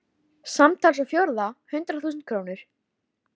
Samtals á fjórða hundrað þúsund krónur.